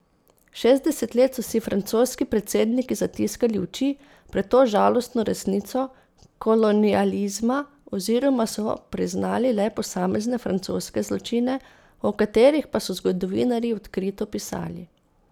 Šestdeset let so si francoski predsedniki zatiskali oči pred to žalostno resnico kolonializma oziroma so priznali le posamezne francoske zločine, o katerih pa so zgodovinarji odkrito pisali.